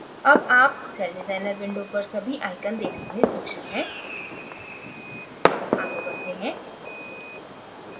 अब आप celldesigner window पर सभी icons देखने में सक्षम हैं आगे बढ़ते हैं